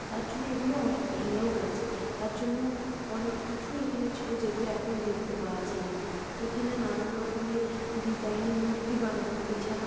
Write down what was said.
তার জন্য এগুলো অনেক ভেঙে ও গেছে তার জন্য অনেক কিছুই এখানে ছিল যেগুলো এখন দেখতে পাওয়া যায় না এখানে নানারকম এর ডিজাইন মূর্তি বানানো এছাড়াও --